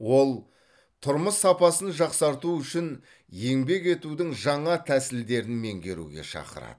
ол тұрмыс сапасын жақсарту үшін еңбек етудің жаңа тәсілдерін меңгеруге шақырады